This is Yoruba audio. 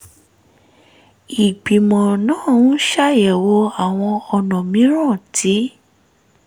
ìgbìmọ̀ náà ń ṣàyẹ̀wò àwọn ọ̀nà mìíràn tí